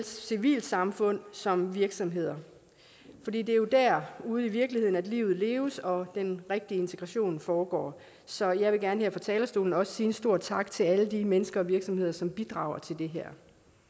civilsamfund som virksomheder for det er jo dér ude i virkeligheden at livet leves og den rigtige integration foregår så jeg vil gerne her fra talerstolen også sige en stor tak til alle de mennesker og virksomheder som bidrager til det her